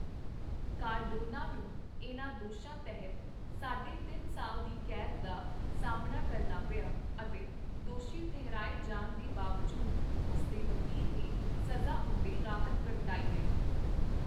Cardano ਨੂੰ ਇਹਨਾਂ ਦੋਸ਼ਾਂ ਤਹਿਤ ਸਾਢੇ ਤਿੰਨ ਸਾਲ ਦੀ ਕੈਦ ਦਾ ਸਾਹਮਣਾ ਕਰਨਾ ਪਿਆ ਅਤੇ ਦੋਸ਼ੀ ਠਹਿਰਾਏ ਜਾਣ ਦੇ ਬਾਵਜੂਦ ਉਸ ਦੇ ਵਕੀਲ ਨੇ ਸਜ਼ਾ ਉੱਤੇ ਰਾਹਤ ਪ੍ਰਗਟਾਈ ਹੈ।